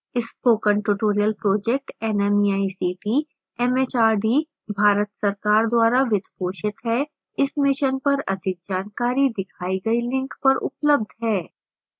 spoken tutorial project nmeict mhrd Bharat सरकार द्वारा वित्त पोषित है इस mission पर अधिक जानकारी दिखाई गई link पर उपलब्ध है